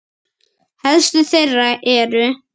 Helstu þeirra eru